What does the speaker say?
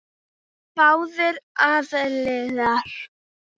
Báðir aðilar.